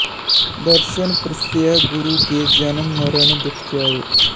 ਦਰਸਨ ਪਰਸਿਐ ਗੁਰੂ ਕੈ ਜਨਮ ਮਰਣ ਦੁਖੁ ਜਾਇ